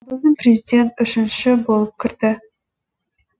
президент үшінші болып кірді